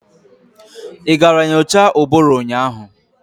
Ị gara nyocha ụbụrụ ụnyaahụ?